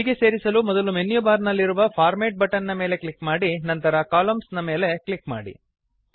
ಹೀಗೆ ಸೇರಿಸಲು ಮೊದಲು ಮೆನ್ಯು ಬಾರ್ ನಲ್ಲಿರುವ ಫಾರ್ಮ್ಯಾಟ್ ಬಟನ್ ನ ಮೇಲೆ ಕ್ಲಿಕ್ ಮಾಡಿ ನಂತರ ಕಾಲಮ್ನ್ಸ್ ಎಂಬಲ್ಲಿ ಕ್ಲಿಕ್ ಮಾಡಿ